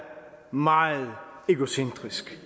meget egocentrisk